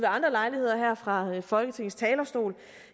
andre lejligheder her fra folketingets talerstol